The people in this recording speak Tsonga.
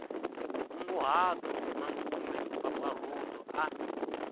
nkunguhato na kumbe mpfampfarhuto a